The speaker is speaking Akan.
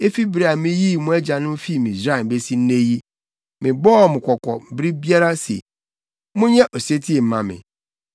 Efi bere a miyii mo agyanom fii Misraim besi nnɛ yi, mebɔɔ wɔn kɔkɔ bere biara se, “Monyɛ osetie mma me.”